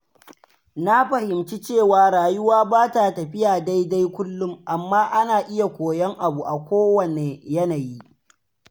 Na fahimci cewa rayuwa ba ta tafiya daidai kullum, amma ana iya koyon abu a kowanne yanayi.